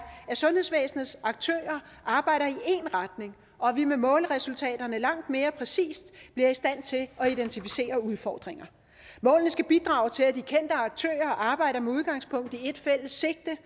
at sundhedsvæsenets aktører arbejder i én retning og at vi med målresultaterne langt mere præcist bliver i stand til at identificere udfordringer målene skal bidrage til at de kendte aktører arbejder med udgangspunkt i et fælles sigte